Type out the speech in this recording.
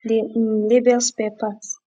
dey um label spare parts